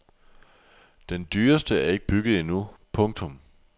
Den dyreste er ikke bygget endnu. punktum